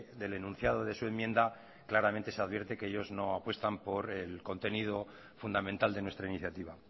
del enunciado de su enmienda claramente se advierte que ellos no apuestan por el contenido fundamental de nuestra iniciativa